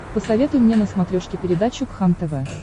посоветуй мне на смотрешке передачу кхлм тв